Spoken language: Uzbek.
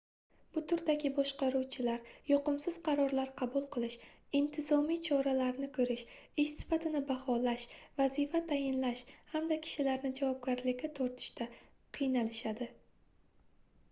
bu turdagi boshqaruvchilar yoqimsiz qarorlar qabul qilish intizomiy choralarni koʻrish ish sifatini baholash vazifa tayinlash hamda kishilarni javobgarlikka tortishda qiynalishadi